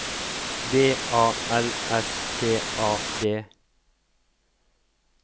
B A L S T A D